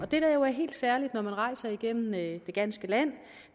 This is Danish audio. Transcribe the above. det der er helt særligt når man rejser igennem det ganske land